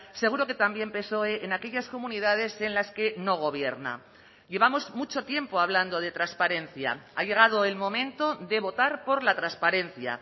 seguro que también psoe en aquellas comunidades en las que no gobierna llevamos mucho tiempo hablando de transparencia ha llegado el momento de votar por la transparencia